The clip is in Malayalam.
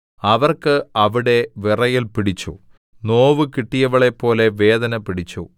അവർക്ക് അവിടെ വിറയൽ പിടിച്ചു നോവു കിട്ടിയവളെപ്പോലെ വേദന പിടിച്ചു